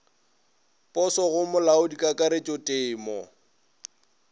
poso go molaodi kakaretšo temo